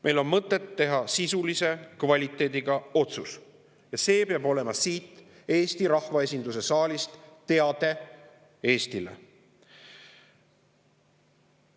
Meil on mõtet teha sisulise kvaliteediga otsus ja see peab olema siit Eesti rahvaesinduse saalist teade Eestile.